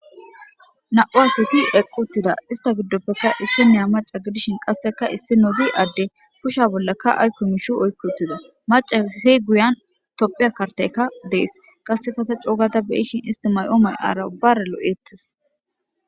Nan'u Asati eqi utida ista gidopeka isinaya Macca Qaseka issinozi ade Kusheza bollaka aykoMishi Oyki uttida Maccaysi Guyan Tophiya kanteyka de'i utida kanteyka de'izaysako Qaseka ta co ga ta beyishin Hara ubara lo'etes